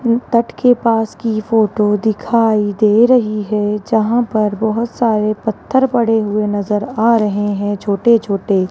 तट के पास की फोटो दिखाई दे रही है जहां पर बहोत सारे पत्थर पड़े हुए नजर आ रहे हैं छोटे छोटे।